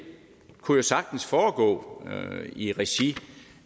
kunne sagtens foregå i regi